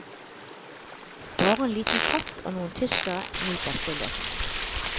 Bare en liten katt og noen tyskere nyter stillheten.